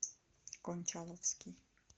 кончаловский